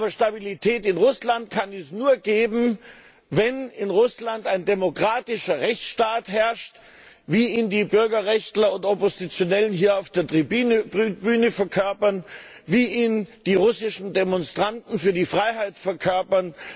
Aber Stabilität in Russland kann es nur geben, wenn in Russland ein demokratischer Rechtsstaat herrscht, wie ihn die Bürgerrechtler und Oppositionellen hier auf der Tribüne verkörpern, wie ihn die russischen Demonstranten für die Freiheit verkörpern.